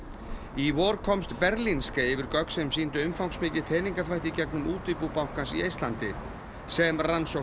í vor komst Berlingske yfir gögn sem sýndu umfangsmikið peningaþvætti í gegnum útibú bankans í Eistlandi sem rannsókn